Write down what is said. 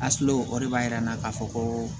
o de b'a yira n na k'a fɔ ko